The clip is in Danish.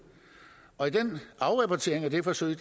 og i afrapporteringen af det forsøg